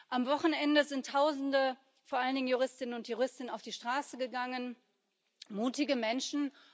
Am Wochenende sind Tausende, vor allen Dingen Juristinnen und Juristen, auf die Straße gegangen mutige Menschen.